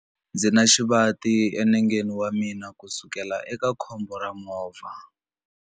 Ndzi na xivati enengeni wa mina kusukela eka khombo ra movha.